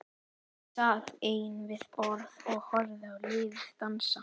Ég sat ein við borð og horfði á liðið dansa.